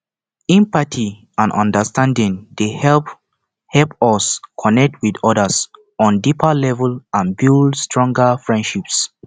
empathy and understanding dey help help us connect with odas on deeper level and build stronger friendships